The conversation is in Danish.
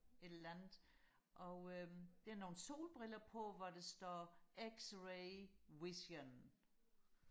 et eller andet og øhm det har nogle solbriller på hvor der står x-ray vision